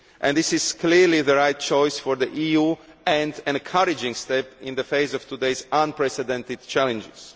This is clearly the right choice for the EU, and an encouraging step in the face of today's unprecedented challenges.